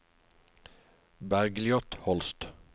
Bergljot Holst